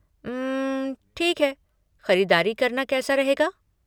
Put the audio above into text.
उम्म, ठीक है, ख़रीदारी करना कैसा रहेगा?